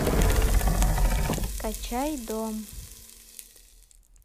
скачай дом